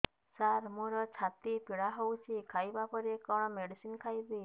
ସାର ମୋର ଛାତି ପୀଡା ହଉଚି ଖାଇବା ପରେ କଣ ମେଡିସିନ ଖାଇବି